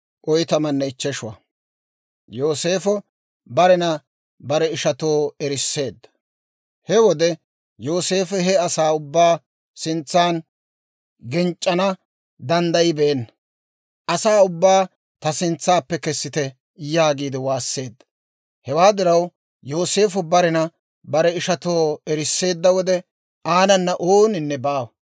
He wode Yooseefo he asaa ubbaa sintsaan genc'c'ana danddayibeenna; «Asaa ubbaa ta sintsaappe kessite» yaagiide waasseedda. Hewaa diraw Yooseefo barena bare ishatoo erisseedda wode, aanana ooninne baawa.